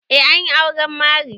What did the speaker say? Eh an yi auren Mary.